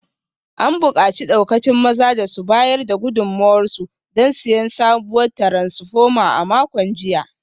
An bukaci daukacin mazan da su bayar da gudunmuwarsu don siyan sabuwar taransfoma a makon jiya